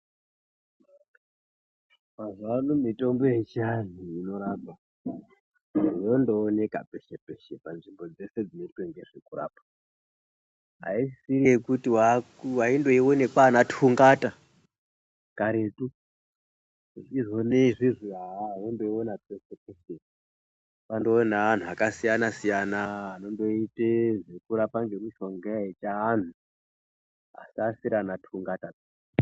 Mazuwano mitombo yechiantu inorapa yondooneka peshe peshe panzvimbo dzeshe dzinoita ngezvekurapa aisisiri yekuti waindoione kwana tungata karetu izvoni izvezvi wakundoiona peshe peshe kwandove neantu akasiyana anondoita zvokurapa nemishonga yechiantu asi asiri ana tungata.